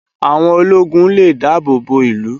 Áwón ólógún lé dàábó bó ilú